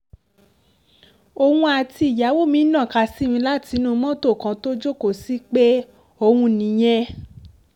òun dáìyàwó mi ń nàka sí mi látinú mọ́tò kan tó jókòó sí pé òun nìyẹn